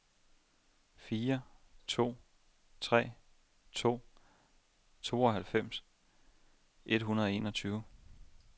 fire to tre to tooghalvfems et hundrede og enogtyve